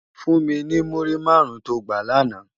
Fún mi ni múrí márùn tó gbá làná